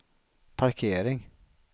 parkering